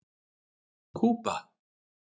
Kúba